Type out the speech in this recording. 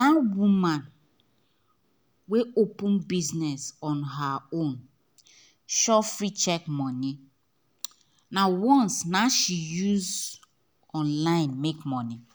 that woman wey open business on her own sufree check money nah once she use online make money